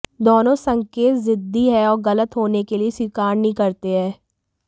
दोनों संकेत जिद्दी हैं और गलत होने के लिए स्वीकार नहीं करते हैं